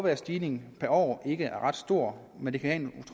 at stigningen per år ikke er ret stor men det kan